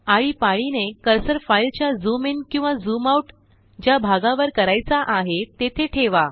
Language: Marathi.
आळीपाळीने कर्सर फाईलच्या झूम इन किंवा झूम आउट ज्याभागावर करायचा आहे तेथे ठेवा